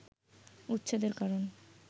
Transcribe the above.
উচ্ছেদের কারণ